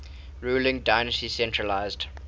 ruling dynasty centralised